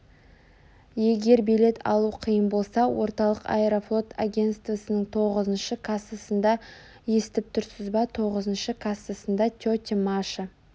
егер билет алу қиын болса орталық аэрофлот агентствосының тоғызыншы кассасында естіп тұрсыз ба тоғызыншы кассасында тетя маша